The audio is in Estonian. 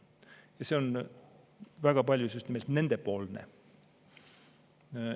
Ja see on väga paljus just nimelt nendepoolne.